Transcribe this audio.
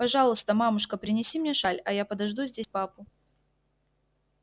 пожалуйста мамушка принеси мне шаль а я подожду здесь папу